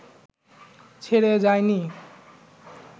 ছেড়ে যায়নি